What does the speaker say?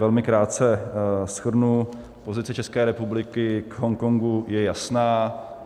Velmi krátce shrnu: pozice České republiky k Hongkongu je jasná.